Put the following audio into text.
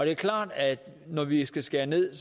er klart at når vi skal skære ned